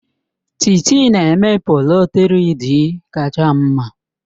Titi na-eme polo 3-Dịị kacha mma.